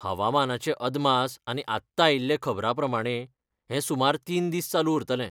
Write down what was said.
हवामानाचे अदमास आनी आत्तां आयिल्ले खबरांप्रमाणें, हें सुमार तीन दीस चालू उरतलें.